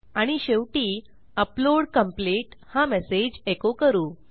आणि शेवटी upload complete हा मेसेज एको करू